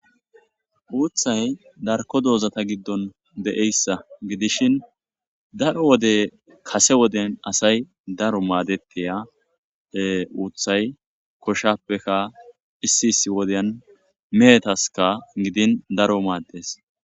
Uththay darko dozata giddon de'issa giddishin daro wode kase wodey asa daro madetiya uththay koshapeka issi issi wodiyankka mehetaskka giddin daro maddes.